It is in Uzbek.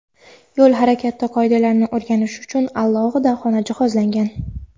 yo‘l harakati qoidalarini o‘rganish uchun alohida xona jihozlangan;.